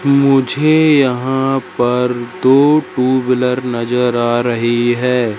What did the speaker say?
मुझे यहां पर दो ट्यूबलर नजर आ रही है।